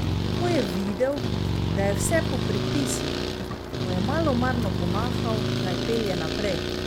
Ko je videl, da je vse po predpisih, mu je malomarno pomahal, naj pelje naprej.